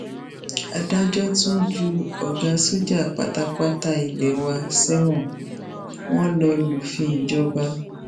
adájọ tún ju ọgá sójà pátápátá ilé wa sẹwọn wọn lọ lufin ìjọba